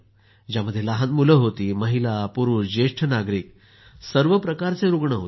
ज्यात लहान मुलं होती महिला पुरूष ज्येष्ठ नागरिक सर्व प्रकारचे रूग्ण होते